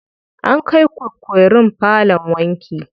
An kai kukerun falon wanki.